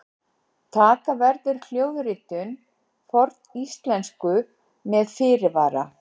taka verður hljóðritun forníslensku með fyrirvara!